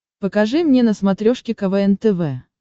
покажи мне на смотрешке квн тв